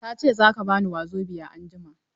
Ta ce za ka ba ni Wazobia anjima.